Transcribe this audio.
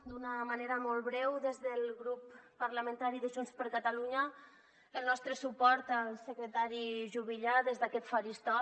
d’una manera molt breu des del grup parlamentari de junts per catalunya el nostre suport al secretari juvillà des d’aquest faristol